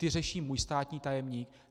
Ty řeší můj státní tajemník.